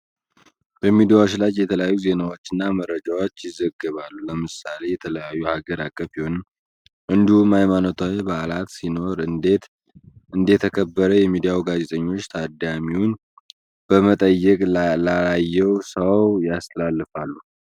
በሚዲያዎች ላይ የተለያዩ ዜናዎች እና መረጃዎች ይዘገባሉ። ለምሳሌ የተለያዩ ሃገር አቀፍ የሆነ እንዲሁም ሃይማኖታዊ በአላት ሲኖሩ እንዴት እንደተከበረ የሚዲያው ጋዜጠኞች ታዳሚውን በመጠየቅ ላላየው ሰው ያስተላልፋሉ።